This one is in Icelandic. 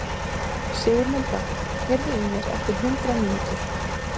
Sigurmunda, heyrðu í mér eftir hundrað mínútur.